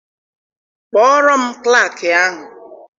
Kpọọrọ m klaakị ahụ!